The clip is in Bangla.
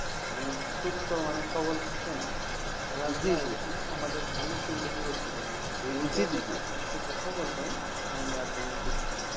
সুস্থ মানে সফল থাকে না খেলাধুলা জিজি অনেক কিন্তু গুরুত্বপূর্ণ এ বিষয়ে আপনার কিছু কথা বলতেন জিজি তাহলে আর কি আমি খুশি হতাম ।